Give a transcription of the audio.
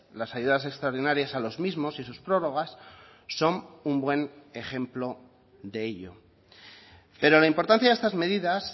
las ayudas extraordinarias a los mismos y sus prórrogas son un buen ejemplo de ello pero la importancia de estas medidas